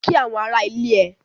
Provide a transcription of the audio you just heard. Kí àwọn ará ilé ẹ!